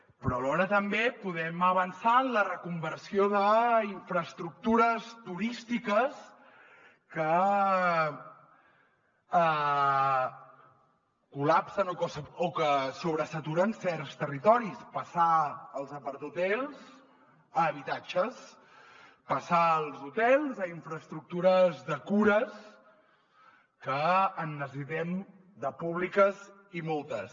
però alhora també podem avançar en la reconversió d’infraestructures turístiques que col·lapsen o que sobresaturen certs territoris passar els aparthotels a habitatges passar els hotels a infraestructures de cures que en necessitem de públiques i moltes